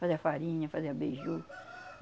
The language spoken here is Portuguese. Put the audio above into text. Fazia farinha, fazia beiju.